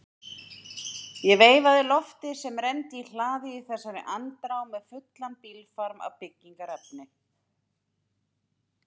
Ég veifaði Lofti sem renndi í hlaðið í þessari andrá með fullan bílfarm af byggingarefni.